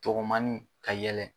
Dɔgɔmanni ka yɛlɛ